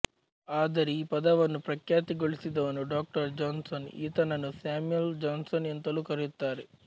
ಆದರೆ ಈ ಪದವನ್ನು ಪ್ರಖ್ಯಾತಿಗೊಳಿಸಿದವನು ಡಾ ಜಾನ್ಸನ್ ಈತನನ್ನು ಸ್ಯಾಮುಯಲ್ ಜಾನ್ಸನ್ ಎಂತಲೂ ಕರೆಯುತ್ತಾರೆ